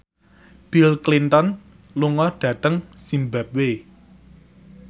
Bill Clinton lunga dhateng zimbabwe